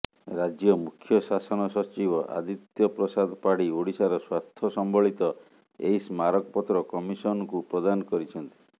ରାଜ୍ୟ ମୁଖ୍ୟଶାସନ ସଚିବ ଆଦିତ୍ୟ ପ୍ରସାଦ ପାଢୀ ଓଡିଶାର ସ୍ୱାର୍ଥ ସମ୍ବଳିତ ଏହି ସ୍ମାରକପତ୍ର କମିଶନଙ୍କୁ ପ୍ରଦାନ କରିଛନ୍ତି